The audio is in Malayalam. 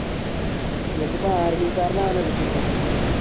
നിങ്ങൾക്ക് ഇപ്പൊ ആർമി കാരനാകാനല്ലേ interest